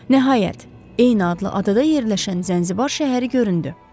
Nəhayət, eyni adlı adada yerləşən Zənzibar şəhəri göründü.